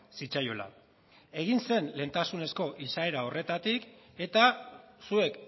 zitzaiola egin zen lehentasunezko izaera horretatik eta zuek